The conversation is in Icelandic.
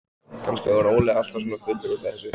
Kannski varð Óli alltaf svona fullur út af þessu.